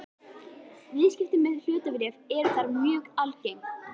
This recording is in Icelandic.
Viðskipti með hlutabréf eru þar mjög algeng.